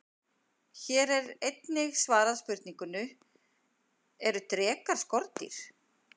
Hér er einnig svarað spurningunni: Eru drekar skordýr?